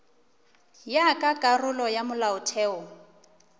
ya ka karolo ya molaotheo